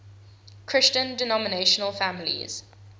christian denominational families